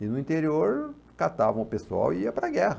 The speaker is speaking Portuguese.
E no interior, catavam o pessoal e ia para a guerra.